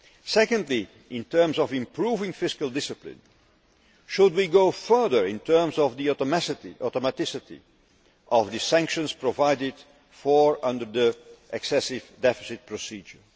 Secondly, in terms of improving fiscal discipline, should we go further in terms of the automaticity of the sanctions provided for under the Excessive Deficit Procedure?